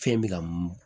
Fɛn bɛ ka mun